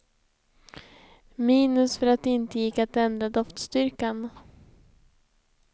Minus för att det inte gick att ändra doftstyrkan.